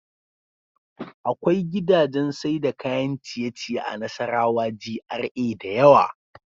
Akwai gidajan Saida kayan ciye ciye a nassarawa G.R.A dayawa